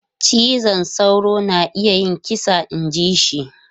Cizon sauro na iya yin kisa inji shi.